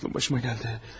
Aklım başıma gəldi.